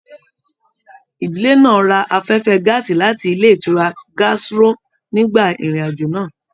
Ìdílé náà rà afẹfẹ gàásí láti ilé ìtura gastro nigba irin-ajo náà.